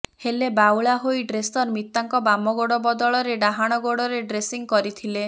ହେଲେ ବାଉଳା ହୋଇ ଡ୍ରେସର ମିତାଙ୍କ ବାମଗୋଡ଼ ବଦଳରେ ଡାହାଣ ଗୋଡ଼ରେ ଡ୍ରେସିଂ କରିଥିଲେ